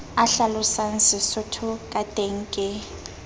a hlalosang sesotho kateng ke